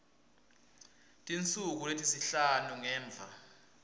tinsuku letisihlanu ngemva